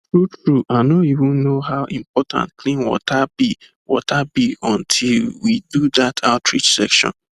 truetrue i no even know how important clean water be water be until we do that outreach session